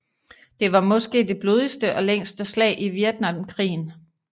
Det var måske det blodigste og længste slag i Vietnamkrigen